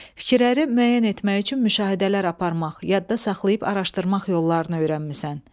Fikirləri müəyyən etmək üçün müşahidələr aparmaq, yadda saxlayıb araşdırmaq yollarını öyrənmisən.